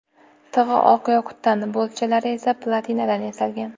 Tig‘i oq yoqutdan, boltchalari esa platinadan yasalgan.